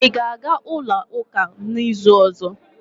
Ị ga-aga ulo uka n'izu ọzọ?